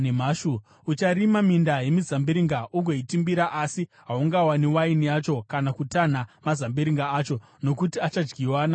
Ucharima minda yemizambiringa ugoitimbira, asi haunganwi waini yacho kana kutanha mazambiringa acho, nokuti achadyiwa namakonye.